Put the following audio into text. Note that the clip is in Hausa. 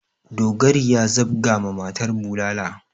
Dogari ya zabga ma matar bulala.